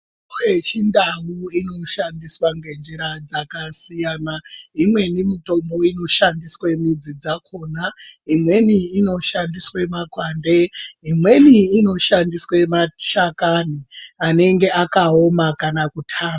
Mitombo yechintau inoshandiswa ngenzira dzakasiyana. Imweni mitombo inoshandiswe midzi dzakona, imweni inoshandiswe makwande, imweni inoshandiswe mashakani anenge akaoma kana kutamba.